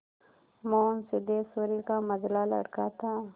मोहन सिद्धेश्वरी का मंझला लड़का था